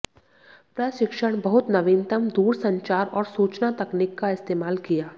प्रशिक्षण बहुत नवीनतम दूरसंचार और सूचना तकनीक का इस्तेमाल किया